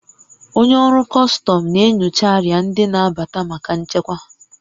Onye ọrụ kọstọm na-enyocha arịa ndị na-abata maka nchekwa